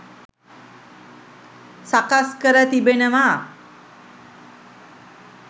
සකස් කර තිබෙනවා.